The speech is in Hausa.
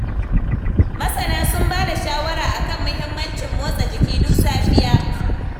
Masana sun ba da shawara a kan muhimmancin motsa jiki duk safiya.